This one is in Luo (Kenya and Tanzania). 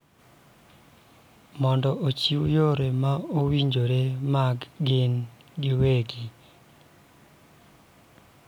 Mondo ochiw yore ma owinjore mag gin giwegi.